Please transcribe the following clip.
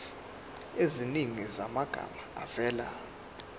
eziningi zamagama avela